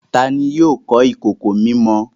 Tani yóò kọ ìkòkò mímọ?